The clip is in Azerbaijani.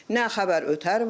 Nə xəbər ötər var.